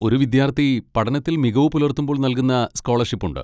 ഒരു വിദ്യാർത്ഥി പഠനത്തിൽ മികവ് പുലർത്തുമ്പോൾ നൽകുന്ന സ്കോളർഷിപ്പ് ഉണ്ട്.